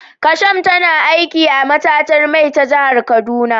Kasham tana aiki a matatar mai ta jihar kaduna